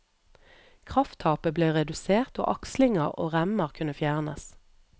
Krafttapet ble redusert, og akslinger og remmer kunne fjernes.